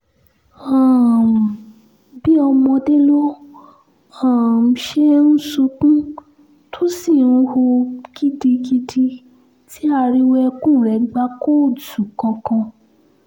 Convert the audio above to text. um àfi bíi ọmọdé ló um ṣe ń sunkún tó sì ń hù gidigidi tí ariwo ẹkún rẹ̀ gba kóòtù kankan